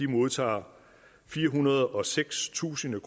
modtager firehundrede og sekstusind